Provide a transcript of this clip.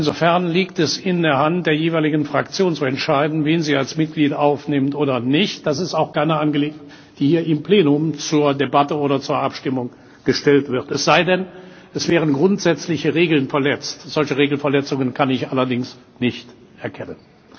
Insofern liegt es in der Hand der jeweiligen Fraktion, zu entscheiden, wen sie als Mitglied aufnimmt oder nicht. Zweitens Das ist keine Angelegenheit, die hier im Plenum zur Debatte oder zur Abstimmung gestellt wird, es sei denn, es wären grundsätzliche Regeln verletzt. Solche Regelverletzungen kann ich allerdings nicht erkennen.